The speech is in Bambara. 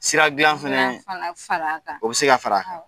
Sira glan fɛnɛɛ; fala fala kan; O bɛ se ka fara a kan; Awɔ